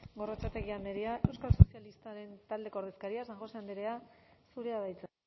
gorrotxategi andrea euskal sozialistak taldeko ordezkaria san josé andrea zurea da hitza